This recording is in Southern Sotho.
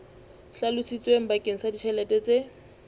hlalositsweng bakeng sa ditjhelete tse